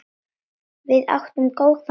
Við áttum góðan vin.